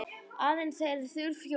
Aðrir þegja þunnu hljóði.